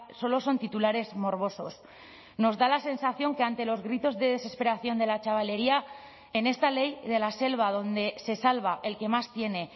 solo son titulares morbosos nos da la sensación que ante los gritos de desesperación de la chavalería en esta ley de la selva donde se salva el que más tiene